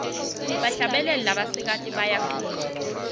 bahlabeli labasikati bayacule